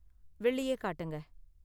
வெள்ளியே காட்டுங்க.